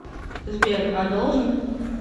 сбер а должен